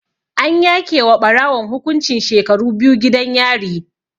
An yake wa Ɓarawon hukuncin shekaru biyu gidan yari